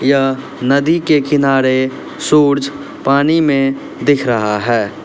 यह नदी के किनारे सूरज पानी में दिख रहा है।